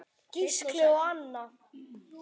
Gísli og Anna.